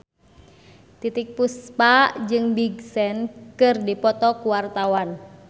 Titiek Puspa jeung Big Sean keur dipoto ku wartawan